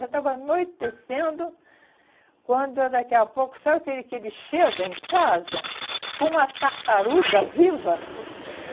Já estava anoitecendo, quando é daqui a pouco... Sabe aquele que ele chega em casa com uma tartaruga viva?